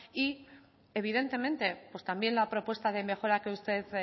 y evidentemente también la propuesta de mejora que usted